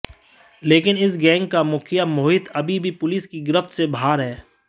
लेकिन इस गैंग का मुखिया मोहित अभी भी पुलिस की गिरफ्त से बाहर है